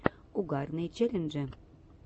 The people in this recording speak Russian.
угарные челленджи